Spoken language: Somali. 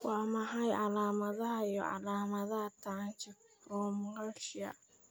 Waa maxay calaamadaha iyo calaamadaha tracheobronchomalacia?